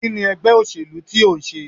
Kini ègbé òṣèlú ti o ń sé?